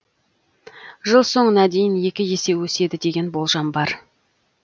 жыл соңына дейін екі есе өседі деген болжам бар